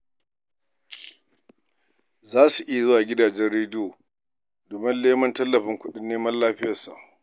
Za su iya zuwa gidajen radiyo domin neman tallafin kuɗin neman lafiyarsa.